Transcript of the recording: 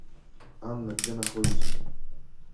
анна где находится